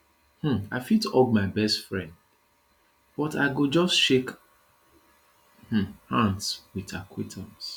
um i fit hug my best friend but i go just shake um hands with acquaintances